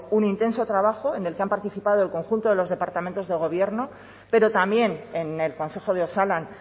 un intenso trabajo en el que han participado el conjunto de los departamentos del gobierno pero también en el consejo de osalan